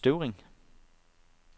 Støvring